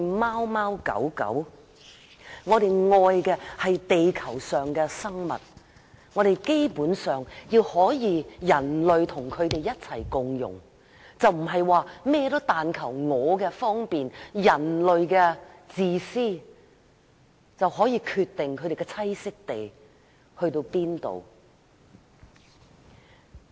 我們愛的是地球上的生物，希望人類可以與各種動物共融，而不是只求自己方便，出於自私而決定動物的棲息地範圍。